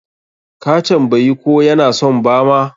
Ka tambayi ko ya na son bama?